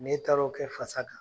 N'e taara o kɛ fasa kan